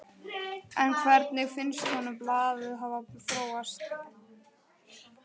En hvernig finnst honum blaðið hafa þróast?